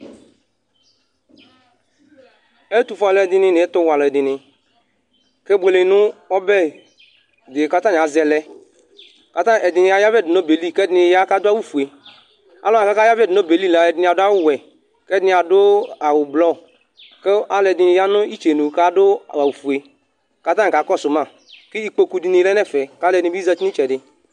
Ɛtʋfʋe alʋɛdìní nʋ ɛtuwɛ alʋɛdìní kebʋele nʋ ɔbɛ di kʋ atani azɛ lɛ Ɛdiní ayavɛ du nʋ ɔbɛli kʋ ɛdiní ya adu awu fʋe Alʋwani kʋ akayavɛ ɛdiní adu wɛ kʋ ɛdiní adu awu blɔ kʋ alʋɛdìní ya nʋ itsenu ku adu awu fʋe kʋ atani kakɔsu ma kʋ ikpoku lɛ nʋ ɛfɛ kʋ alʋɛdìní bi zɛti nʋ itsɛdi